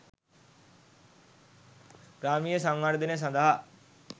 ග්‍රාමීය සංවර්ධනය සඳහා